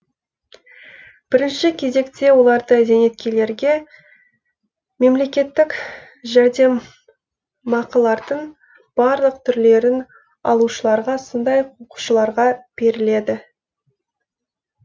бірінші кезекте оларды зейнеткерлерге мемлекеттік жәрдем мақылардың барлық түрлерін алушыларға сондай ақ оқушыларға беріледі